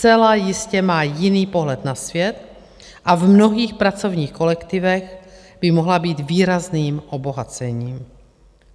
Zcela jistě má jiný pohled na svět a v mnohých pracovních kolektivech by mohla být výrazným obohacením.